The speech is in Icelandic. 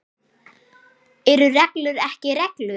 Eru reglur ekki reglur?